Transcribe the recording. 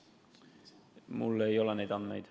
Mul ei ole neid andmeid.